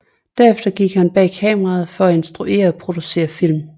Derefter gik han bag kameraet for at instruere og producere film